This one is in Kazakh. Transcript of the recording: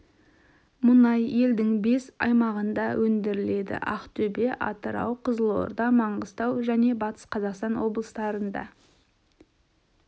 мұнай елдің бес аймағында өндіріледі ақтөбе атырау қызылорда маңғыстау және батыс қазақстан облыстарында